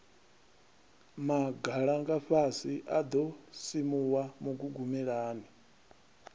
magalangafhasi a ḓo simuwa mugugumelani